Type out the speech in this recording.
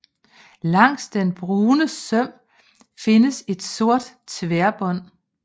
Langs den brune søm findes et sort tværbånd